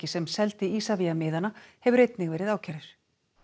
sem seldi Isavia miðana hefur einnig verið ákærður